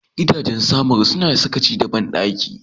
Gidajen Samaru suna sakaci da bandaki.